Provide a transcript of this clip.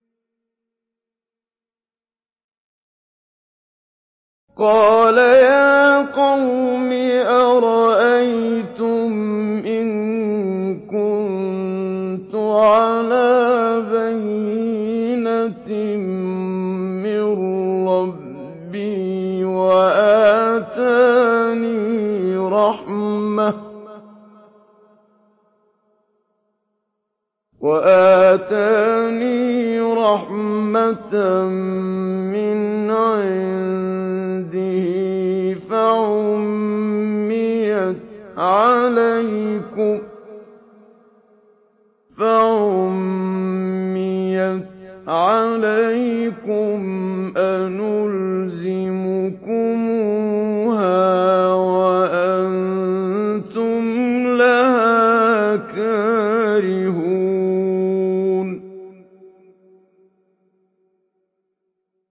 قَالَ يَا قَوْمِ أَرَأَيْتُمْ إِن كُنتُ عَلَىٰ بَيِّنَةٍ مِّن رَّبِّي وَآتَانِي رَحْمَةً مِّنْ عِندِهِ فَعُمِّيَتْ عَلَيْكُمْ أَنُلْزِمُكُمُوهَا وَأَنتُمْ لَهَا كَارِهُونَ